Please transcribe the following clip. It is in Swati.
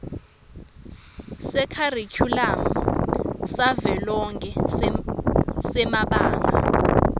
sekharikhulamu savelonkhe semabanga